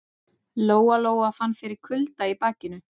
Lóa Lóa fann fyrir kulda í bakinu.